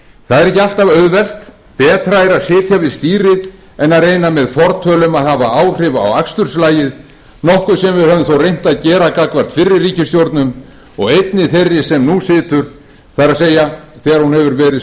það er ekki alltaf auðvelt betra er að sitja við stýrið en að reyna með fortölum að hafa áhrif á aksturslagið nokkuð sem við höfum þó reynt að gera gagnvart fyrri ríkisstjórnum og einnig þeirri sem nú situr það er þegar hún hefur verið